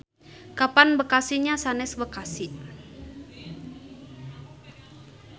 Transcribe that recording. Kapan Bekasi nya sanes Bekasi.